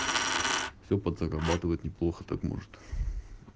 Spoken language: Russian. все подзарабатывать неплохо так может